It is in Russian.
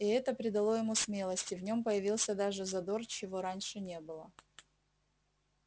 и это придало ему смелости в нем появился даже задор чего раньше не было